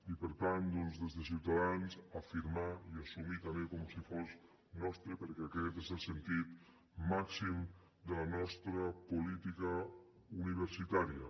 i per tant doncs des de ciutadans afirmar i assumir també com si fos nostre perquè aquest és el sentit màxim de la nostra política universitària